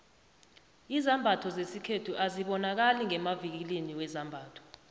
izambatho zesikhethu azibonakali ngemavikilini wezambatho